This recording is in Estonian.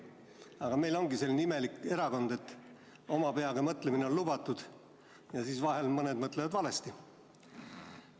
Aga meil ongi selline imelik erakond, et oma peaga mõtlemine on lubatud ja vahel mõned mõtlevad valesti.